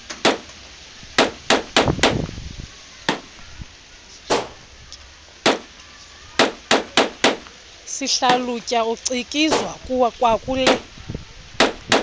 sihlalutya ucikizwa kwakule